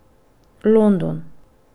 London.